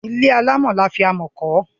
Ilé alámọ̀ ni wọ́n fi amọ̀ kọ́.